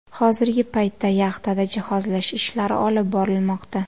Hozirgi paytda yaxtada jihozlash ishlari olib borilmoqda.